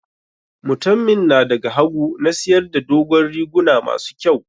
Mutanmin na da ga hagu na siyar da dogon riguna ma su kyau.